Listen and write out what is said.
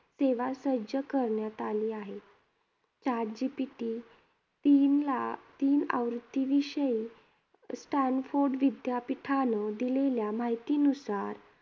सेवा सज्ज करण्यात आली आहे. Chat GPT तीनला, तीन आवृत्तीविषयी स्टॅनफोर्ड विद्यापीठानं दिलेल्या माहितीनुसार